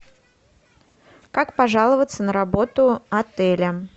как пожаловаться на работу отеля